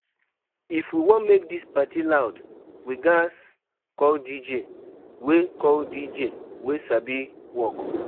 If we wan make this party loud, we ghas call DJ wey sabi work